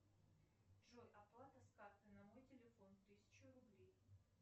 джой оплата с карты на мой телефон тысячу рублей